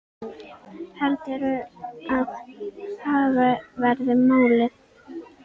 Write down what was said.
Heldurðu að það verði málið?